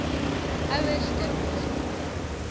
ouers dikwels wonder